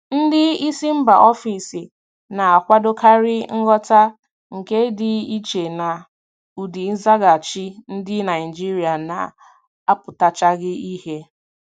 Ndị isi mba ofesi na-akwadokarị nghọta, nke dị iche na ụdị nzaghachi ndị Naijiria na-apụtachaghị ìhè.